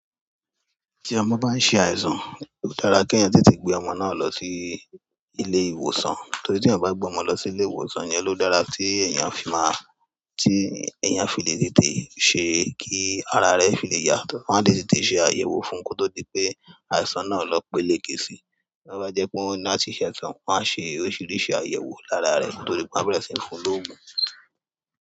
Tí ọmọ bá ṣe àìsàn, ó dára kí èèyàn tètè gbé ọmọ náà lọ sí ilé ìwòsàn, torí tí ẹ́ bá gbé ọmọ lọ sí ilé ìwòsàn, ẹ́ ló dára tí èèyàn fi máa, tí èèyàn fi lè tètè ṣe kí ara rẹ̀ fi lè yà, wọn á le tètè ṣe àyẹ̀wò fún un kó tó di pé àìsàn náà lọ péléke síi. Bo bá jẹ́ pé wọ́n ní àtẹ̀sán, wọ́n á ṣe oríṣiríṣi àyẹ̀wò lára rẹ̀ koto di pé wọn a bẹ̀rẹ̀ sí ní fún lógun.